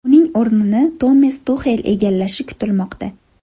Uning o‘rnini Tomas Tuxel egallashi kutilmoqda.